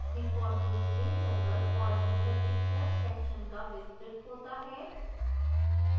default रूप से general और user picture sections का विस्तृत होता है